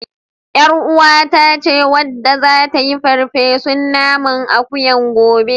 YarUwata ce wadda zata yi farfesun naman akuyan gobe.